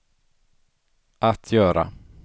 att göra